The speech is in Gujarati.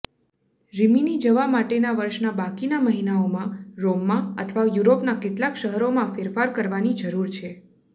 રિમિની જવા માટેના વર્ષના બાકીના મહિનાઓમાં રોમમાં અથવા યુરોપના કેટલાક શહેરોમાં ફેરફાર કરવાની જરૂર છે